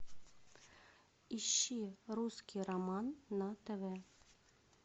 ищи русский роман на тв